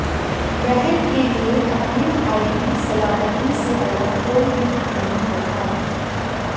बहन के लिए अपने भाई की सलामती से बड़ा कोई गिफ्ट नहीं होता